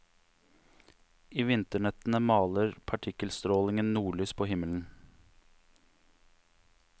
I vinternettene maler partikkelstrålingen nordlys på himmelen.